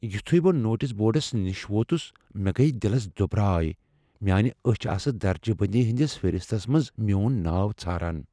یٗتھٗیہ بہٕ نوٹِس بورڈس نِش ووتٗس مے٘ گیہ دِلس دٗبرایہ ، میانہِ اچھِ آسہٕ درجہِ بندی ہندِس فہرِستس منز میون ناو ژھاران ۔